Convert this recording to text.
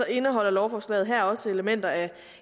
indeholder lovforslaget her også elementer af